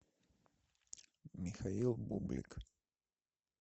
михаил бублик